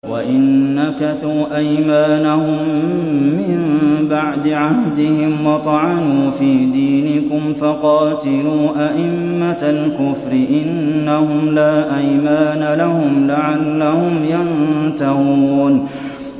وَإِن نَّكَثُوا أَيْمَانَهُم مِّن بَعْدِ عَهْدِهِمْ وَطَعَنُوا فِي دِينِكُمْ فَقَاتِلُوا أَئِمَّةَ الْكُفْرِ ۙ إِنَّهُمْ لَا أَيْمَانَ لَهُمْ لَعَلَّهُمْ يَنتَهُونَ